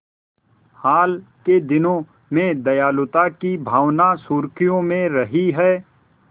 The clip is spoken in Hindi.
हाल के दिनों में दयालुता की भावना सुर्खियों में रही है